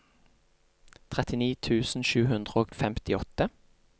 trettini tusen sju hundre og femtiåtte